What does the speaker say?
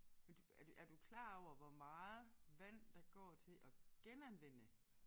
Er du er du er du klar over hvor meget vand der går til at genanvende